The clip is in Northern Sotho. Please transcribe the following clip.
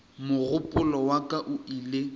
mogopolo wa ka o ile